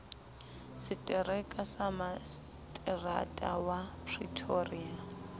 setereka sa maseterata wa pretoria